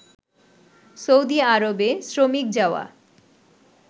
Saudi আরবে শ্রমিক যাওয়া